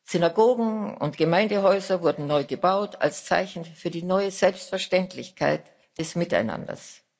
Synagogen und Gemeindehäuser wurden neu gebaut als Zeichen für die neue Selbstverständlichkeit des Miteinanders.